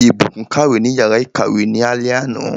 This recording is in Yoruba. Ìbùkún kàwé ní yàrá ìkàwé ní alé àná.